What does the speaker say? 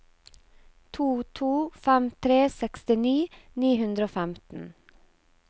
to to fem tre sekstini ni hundre og femten